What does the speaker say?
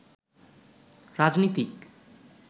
রাজনীতিক